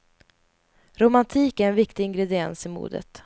Romantik är en viktig ingrediens i modet.